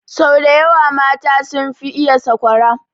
Sau daya wa mata sun fi iya sakwara